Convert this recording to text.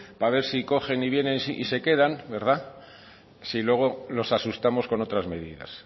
para ver si cogen y viene y se quedan si luego nos asustamos con otras medidas